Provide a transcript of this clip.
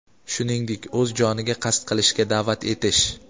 shuningdek o‘z joniga qasd qilishga da’vat etish;.